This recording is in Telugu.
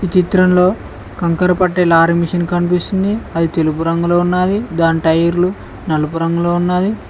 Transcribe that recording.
ఈ చిత్రంలో కంకర పట్టే లారీ మిషిన్ కనిపిస్తుంది అది తెలుపు రంగులో ఉన్నాది దాని టైర్లు నలుపు రంగులో ఉన్నాది.